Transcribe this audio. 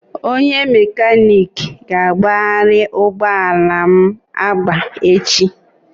Onye mekaniki ga-agbagharị ụgbọ ala m agba echi